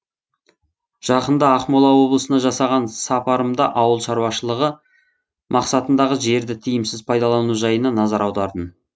жақында ақмола облысына жасаған сапарымда ауыл шаруашылығы мақсатындағы жерді тиімсіз пайдалану жайына назар аудардым